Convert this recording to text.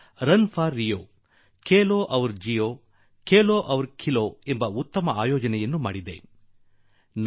run for Rio ರಿಯೋಗಾಗಿ ಓಡಿ ಕೇಲೋ ಔರ್ ಜಿಯೋ ಆಟವಾಡಿ ಮತ್ತು ಬದುಕಿ ಕೇಲೋ ಔರ್ ಖೋಲೋ ಆಟವಾಡಿ ಮತ್ತು ಅರಳಿ ಓಟವನ್ನು ಬಹಳ ಚೆನ್ನಾಗಿ ವ್ಯವಸ್ಥೆ ಮಾಡಿತ್ತು